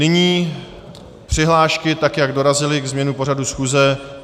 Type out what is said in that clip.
Nyní přihlášky, tak jak dorazily ke změnu pořadu schůze.